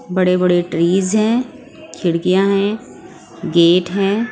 बड़े बड़े ट्रीज हैं खिड़कियाँ हैं गेट हैं।